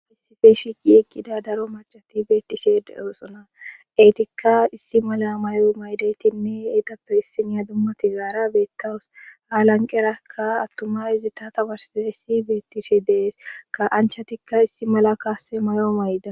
Issife shiqi eqqida daro macati beettishe deoosona eetikka issi mala may7o maydaytinne eetappe issiniya dummati zaara beettawus haalanqerakka attuma izi tatawarsiza issi beettishe dees ka anchatikka issi mala kaase mayo mayda..